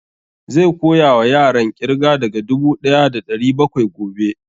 Zai koya wa yaran ƙirga daga dubu ɗaya da ɗari bakwai gobe